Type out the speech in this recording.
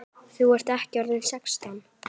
Þú ert ekki orðinn sextán!